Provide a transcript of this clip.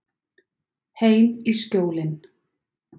Heim í Skjólin.